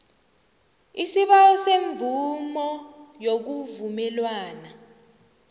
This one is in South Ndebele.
isibawo semvumo yokuvumelwana